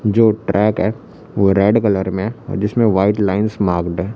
जो ट्रैक है वो रेड कलर में है और जिसमें व्हाइट लाइंस मार्क्ड है।